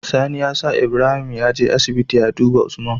Sani ya sa Ibrahim yaje asibiti ya duba usman